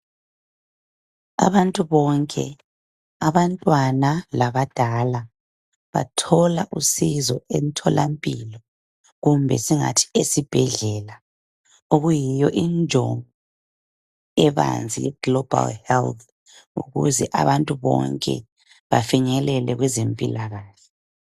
abantu bonke abantwana labadala bathola usizo emtholampini kumbe singathi esibhedlela okuyinyo injongo ebanzi ye global health ukuze abantu bonke bafinyelele okwezempilakahle